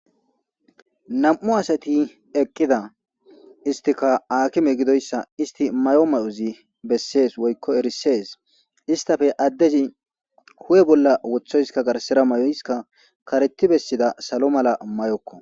Nam'u asati eqqida istika aakime gidoyssa isti mayo ma'uzi bessees woykko erisees istafe addezi hu'e bolla wothoyska garsera may7oyska kareti bessida salo mala may'okko.